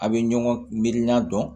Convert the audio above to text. A' bɛ ɲɔgɔn mirinna dɔn